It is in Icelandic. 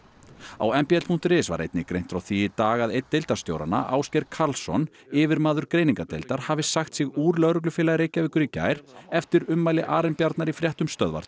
á m b l punktur is var einnig greint frá því í dag að einn deildarstjóranna Ásgeir Karlsson yfirmaður greiningardeildar hafi sagt sig úr Lögreglufélagi Reykjavíkur í gær eftir ummæli Arinbjarnar í fréttum Stöðvar